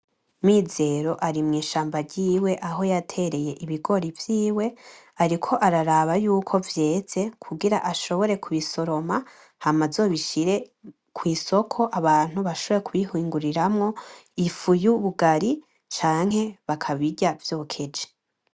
Mizero ari mw’ishaba ryiwe aho yatereye ibigori vyiwe ariko araba yuko vyeze kugira ashobore kubisoroma, hama azobishire kwisoko abantu bashobore kubihinguriramwo ,ifu y’ubugari canke bakabirya vyokeje.